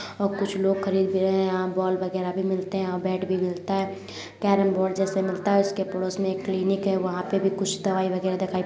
और कुछ लोग खरीद भी रहे हैं। यहाँ बॉल वगैरह भी मिलते हैं और बैट भी मिलता है। कैरम बोर्ड जैसे मिलता है। उस के पड़ोस मे एक क्लिनिक है वहा पर भी कुछ दवाई वगैरह --